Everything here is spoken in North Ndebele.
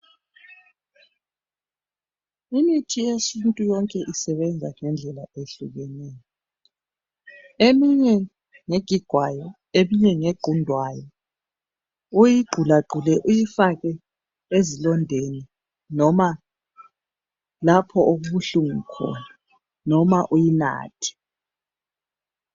Imithi yesintu yonke isebenza ngendlela ehlukeneyo. Eminye nge gigwayo eminye ngegqundwayo, uyigqulagqule uyifake ezilondeni noma lapho okubuhlungu khona noma uyinathe.